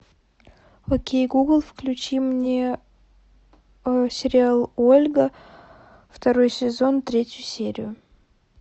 окей гугл включи мне сериал ольга второй сезон третью серию